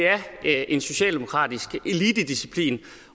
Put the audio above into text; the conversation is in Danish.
er en socialdemokratisk elitedisciplin